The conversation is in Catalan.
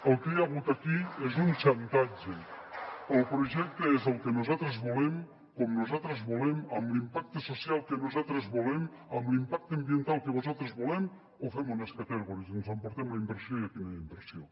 el que hi ha hagut aquí és un xantatge el projecte és el que nosaltres volem com nosaltres volem amb l’impacte social que nosaltres volem amb l’impacte ambiental que nosaltres volem o fem un scattergories ens emportem la inversió i aquí no hi ha inversió